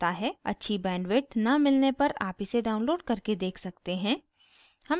अच्छी bandwidth न मिलने पर आप इसे download करके देख सकते हैं